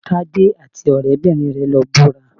Tádé àti ọ̀rẹ́-bìnrin rẹ̀ lọ búra